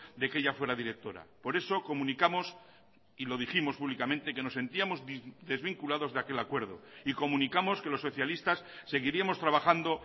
de que ella fuera directora por eso comunicamos y lo dijimos públicamente que nos sentíamos desvinculados de aquel acuerdo y comunicamos que los socialistas seguiríamos trabajando